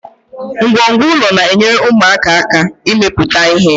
Ngwongwo ụlọ na-enyere ụmụaka aka ịmepụta ihe